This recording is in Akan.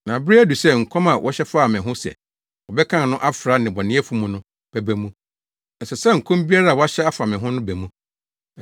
Na bere adu sɛ nkɔm a wɔhyɛ faa me ho sɛ, ‘Wɔbɛkan no afra nnebɔneyɛfo mu’ no bɛba mu. Ɛsɛ sɛ nkɔm biara a wɔahyɛ afa me ho no ba mu.”